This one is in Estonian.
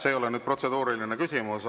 See ei ole nüüd protseduuriline küsimus.